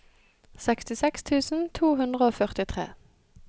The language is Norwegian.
sekstiseks tusen to hundre og førtitre